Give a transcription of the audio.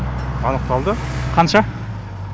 анықталды қанша